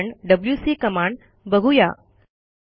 पुढे आपण WC command बघू या